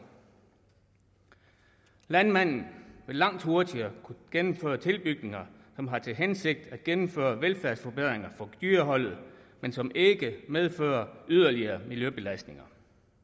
landmanden vil langt hurtigere kunne gennemføre tilbygninger som har til hensigt at gennemføre velfærdsforbedringer for dyreholdet men som ikke medfører yderligere miljøbelastninger